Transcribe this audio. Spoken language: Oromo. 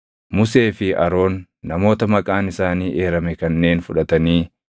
Musee fi Aroon namoota maqaan isaanii eerame kanneen fudhatanii,